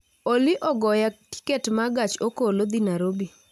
Olli ogoya tiket ma gach okolo dhi Nairobi